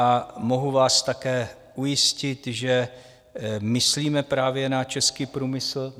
A mohu vás také ujistit, že myslíme právě na český průmysl.